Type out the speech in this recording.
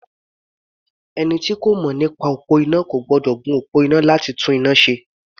Ẹni tí kò mọ̀ nípa iná kò gbọ́dọ̀ gun òpó iná láti tún iná ṣe.